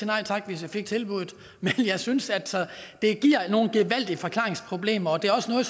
nej tak hvis jeg fik tilbuddet men jeg synes altså at det giver nogle gevaldige forklaringsproblemer det er også noget